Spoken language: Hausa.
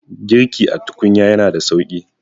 girki a tukunya yana da sauki